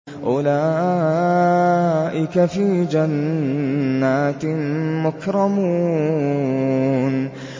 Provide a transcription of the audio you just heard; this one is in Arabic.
أُولَٰئِكَ فِي جَنَّاتٍ مُّكْرَمُونَ